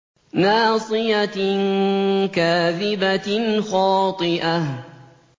نَاصِيَةٍ كَاذِبَةٍ خَاطِئَةٍ